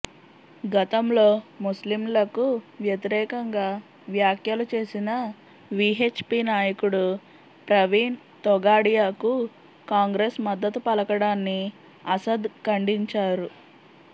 గతంలో ముస్లింలకు వ్యతిరేకంగా వ్యాఖ్యలు చేసిన వీహెచ్ పీ నాయకుడు ప్రవీణ్ తొగాడియాకు కాంగ్రెస్ మద్ధతు పలకడాన్ని అసద్ ఖండించారు